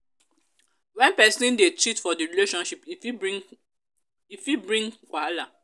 when persin de cheat for the relationship e fit bring e fit bring wahala